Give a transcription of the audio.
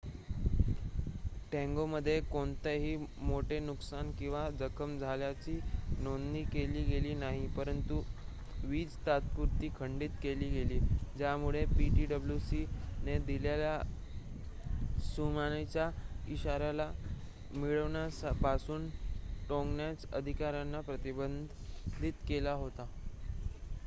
टोंगामध्ये कोणतेही मोठे नुकसान किंवा जखम झाल्याची नोंद केली गेली नाही परंतु वीज तात्पुरती खंडीत केली गेली ज्यामुळे ptwc ने दिलेल्या त्सुनामीचा इशारा मिळाल्यापासून टोंगानच्या अधिकार्‍यांना प्रतिबंधित केले होते